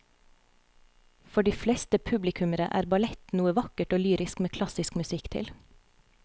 For de fleste publikummere er ballett noe vakkert og lyrisk med klassisk musikk til.